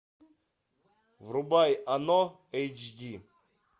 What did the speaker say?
врубай оно эйч ди